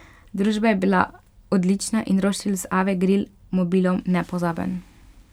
Družba je bila odlična in roštilj z Ave grill mobilom nepozaben!